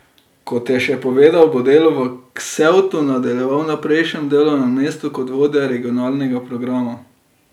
Kot je še povedal, bo delo v Ksevtu nadaljeval na prejšnjem delovnem mestu kot vodja regionalnega programa.